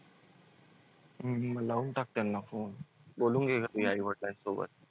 हम्म हम्म म लावून टाक त्यांना phone बोलून घे घरी आई-वडिलांसोबत.